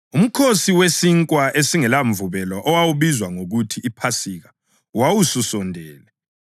UMkhosi weSinkwa esingelaMvubelo owawubizwa ngokuthi liPhasika wawususondele,